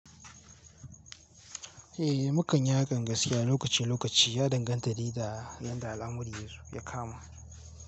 Eh, mu kan yi hakan gaskiya, lokaci-lokaci ya danganta de da yanda al'amuran ya kama.